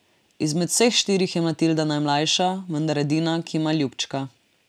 Izmed vseh štirih je Matilda najmlajša, vendar edina, ki ima ljubčka.